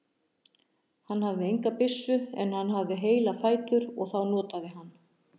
Hann hafði enga byssu en hann hafði heila fætur og þá notaði hann.